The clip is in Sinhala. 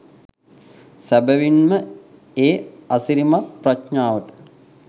සැබැවින් ම ඒ අසිරිමත් ප්‍රඥාවට